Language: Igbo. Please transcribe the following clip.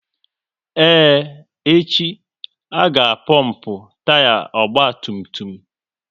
Ee, echi, a ga pompu taya ọgba tum tum